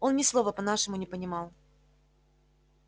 он ни слова по-нашему не понимал